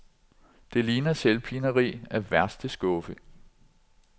Det ligner selvpineri af værste skuffe.